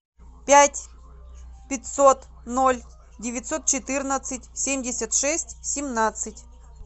пять пятьсот ноль девятьсот четырнадцать семьдесят шесть семнадцать